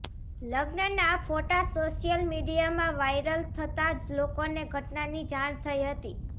લગ્નના ફોટા સોશિયલ મીડિયામાં વાઈરલ થતા લોકોને ઘટનાની જાણ થઈ હતી